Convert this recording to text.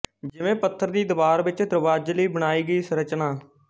ਜਿਵੇਂ ਪੱਥਰ ਦੀ ਦੀਵਾਰ ਵਿੱਚ ਦਰਵਾਜੇ ਲਈ ਬਣਾਈ ਗਈ ਸੰਰਚਨਾ